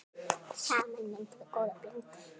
Saman myndum við góða blöndu.